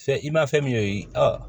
Fɛn i ma fɛn min ye